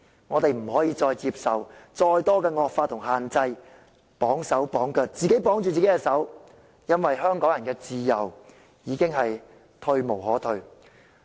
我們不能再接受更多的惡法與限制，自綁手腳，因為香港人的自由已退無可退。